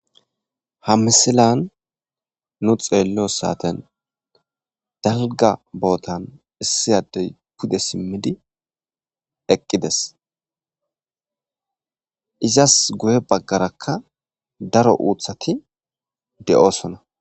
Ha misilan nu xeelliyo saaten dalgga bootan issi addey pudde siimmidi eqqides izas guye baggarakka daro uuththati de'osonna